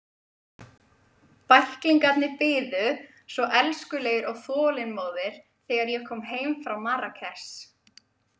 Bæklingarnir biðu svo elskulegir og þolinmóðir þegar ég kom heim frá Marrakesh.